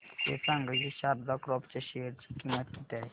हे सांगा की शारदा क्रॉप च्या शेअर ची किंमत किती आहे